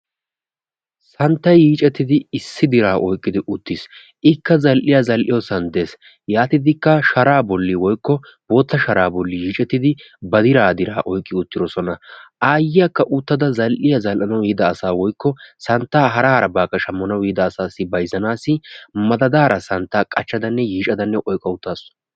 Santtay yiiccetidi issi dira oykkidi uttiis. Ikka zal"iya zal"iyoosan des. Yaatidikka sharaa bolli woykko bootta shara bolli yiiccetidi ba dira dira oykki uttidoosona. Aayiyakka uttada zal"iyaa zal"anwu yiida asa woykko santtaa hara harabakka shammanawu yiida asassi bayzzanassi madadaara santtaa qachchadanne yiiccadanne oykka uttaasu.